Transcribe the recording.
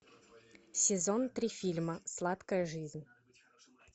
сезон три фильма сладкая жизнь